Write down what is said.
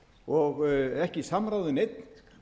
og ekki samráð við neinn